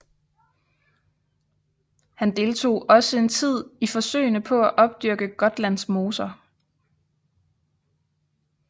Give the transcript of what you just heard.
Han deltog også en tid i forsøgene på at opdyrke Gotlands moser